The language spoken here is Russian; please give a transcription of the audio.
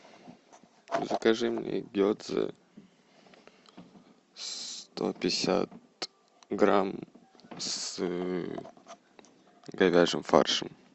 закажи мне гедзе сто пятьдесят грамм с говяжьим фаршем